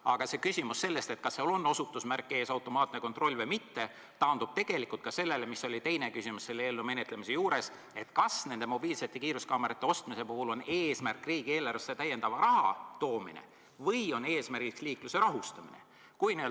Aga see küsimus, kas seal on ees osutusmärk "Automaatne kontroll" või mitte, taandub ka sellele, mis oli teine küsimus selle eelnõu menetlemise juures: kas mobiilsete kiiruskaamerate ostmise eesmärk on riigieelarvesse raha toomine või on eesmärk liikluse rahustamine?